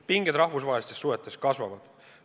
Pinged rahvusvahelistes suhetes kasvavad.